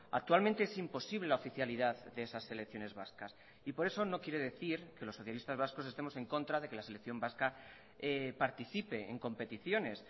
actualmente es imposible la oficialidad de esas selecciones vascas y por eso no quiere decir que los socialistas vascos estemos en contra de que la selección vasca participe en competiciones